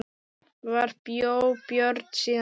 Þar bjó Björn síðan.